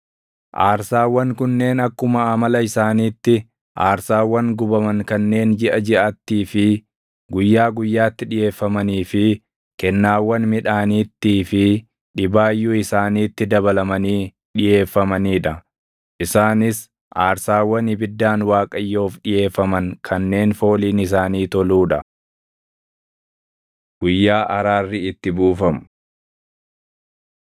Aarsaawwan kunneen akkuma amala isaaniitti aarsaawwan gubaman kanneen jiʼa jiʼattii fi guyyaa guyyaatti dhiʼeeffamanii fi kennaawwan midhaaniittii fi dhibaayyuu isaaniitti dabalamanii dhiʼeeffamanii dha. Isaanis aarsaawwan ibiddaan Waaqayyoof dhiʼeeffaman kanneen fooliin isaanii toluu dha. Guyyaa Araarri Itti Buufamu 29:7‑11 kwf – Lew 16:2‑34; 23:26‑32